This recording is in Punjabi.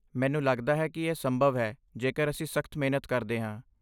ਮੈਨੂੰ ਲੱਗਦਾ ਹੈ ਕਿ ਇਹ ਸੰਭਵ ਹੈ ਜੇਕਰ ਅਸੀਂ ਸਖ਼ਤ ਮਿਹਨਤ ਕਰਦੇ ਹਾਂ।